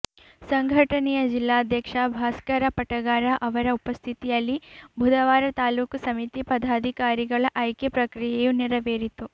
ಸಂಘಟನೆಯ ಜಿಲ್ಲಾಧ್ಯಕ್ಷ ಭಾಸ್ಕರ ಪಟಗಾರ ಅವರ ಉಪಸ್ಥಿತಿಯಲ್ಲಿ ಬುಧವಾರ ತಾಲೂಕಾ ಸಮಿತಿ ಪದಾಧಿಕಾರಿಗಳ ಆಯ್ಕೆ ಪ್ರಕ್ರಿಯೆಯು ನೆರವೇರಿತು